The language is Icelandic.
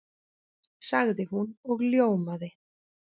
sagði hún og ljómaði.